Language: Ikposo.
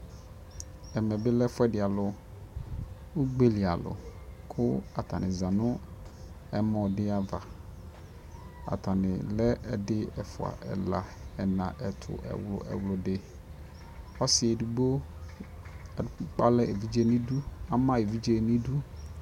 ɛmɛ bi lɛ ɛƒʋɛdi alʋ ,ʋgbɛli alʋ kʋ atani zanʋ ɛmɔ di aɣa, atani lɛ ɛdi ɛƒʋa ɛla, ɛna, ɛtʋ, ɛwlʋ, ɛwlʋdi, ɔsii ɛdigbɔ akpali ɛvidzɛ nʋ idʋ, ama ɛvidzɛ nʋ idʋ